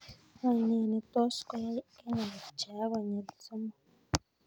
Wany nee ne tos koyai kenya kopcheak konyil somok